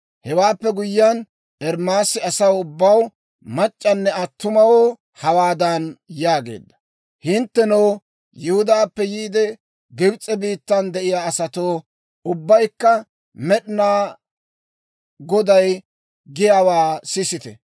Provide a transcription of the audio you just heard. Hewaappe guyyiyaan, Ermaasi asaw ubbaw, mac'c'anne attumawoo hawaadan yaageedda; «Hinttenoo, Yihudaappe yiide, Gibs'e biittan de'iyaa asatoo, ubbaykka Med'inaa Goday giyaawaa sisite!